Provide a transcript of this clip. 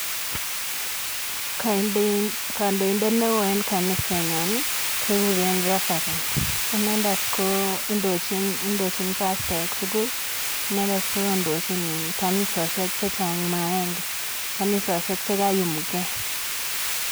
Kandoindet neo eng kanisetnyo kekure Reverend inendet kondochin pastaek tugul. Inendet kondochin kanisosiek chechang ma agenge. Kanisosiek che kaiyumgei.